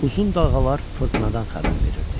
Uzun dalğalar fırtınadan xəbər verirdi.